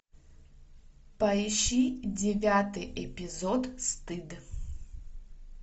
поищи девятый эпизод стыд